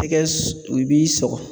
Tɛgɛ u b'i sɔgɔ